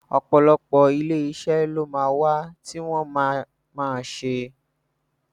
Ọ̀pọ̀lọpọ̀ Iléeṣẹ́ ló ma wà tí wọ́n ma ma ṣe núdúsì